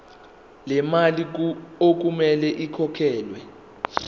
lemali okumele ikhokhelwe